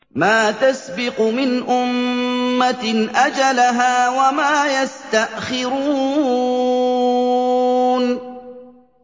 مَا تَسْبِقُ مِنْ أُمَّةٍ أَجَلَهَا وَمَا يَسْتَأْخِرُونَ